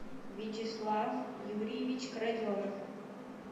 вячеслав юрьевич краденов